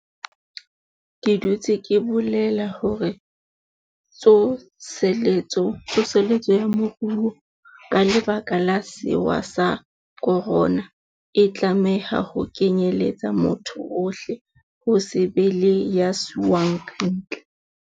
Ke dutse ke bolela hore tso seletso ya moruo ka lebaka la sewa sa khorona, e tlameha ho kenyeletsa motho ohle, ho se be le ya siuwang kantle.